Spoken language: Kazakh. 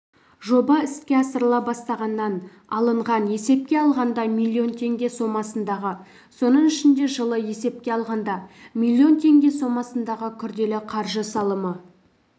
жоба іске асырыла бастағаннан алынған есепке алғанда миллион теңге сомасындағы соның ішінде жылы есепке алғанда миллион теңге сомасындағы күрделі қаржы салымы